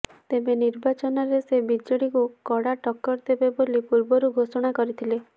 ତେବେ ନିର୍ବାଚନରେ ସେ ବିଜେଡିକୁ କଡା ଟକ୍କର ଦେବେ ବୋଲି ପୂର୍ବରୁ ଘୋଷଣା କରିଥିଲେ